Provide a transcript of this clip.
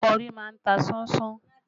Kọ́rì má ń ta sánsán